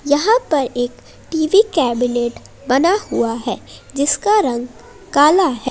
यहां पर एक टीवी कैबिनेट बना हुआ है जिसका रंग काला है।